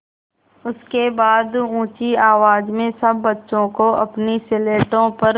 उसके बाद ऊँची आवाज़ में सब बच्चों को अपनी स्लेटों पर